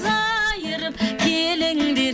қайырып келіңдер